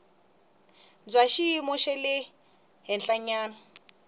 bya xiyimo xa le henhlanyana